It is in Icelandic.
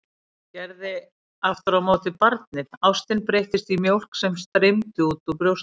Það gerði aftur á móti barnið, ástin breyttist í mjólk sem streymdi úr brjóstinu.